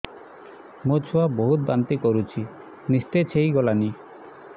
ମୋ ଛୁଆ ବହୁତ୍ ବାନ୍ତି କରୁଛି ନିସ୍ତେଜ ହେଇ ଗଲାନି